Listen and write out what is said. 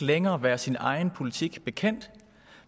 længere være sin egen politik bekendt